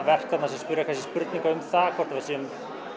verk sem spyrja spurninga um það hvort við séum